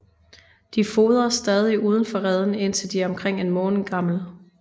De fodres stadig udenfor reden indtil de er omkring en måned gamle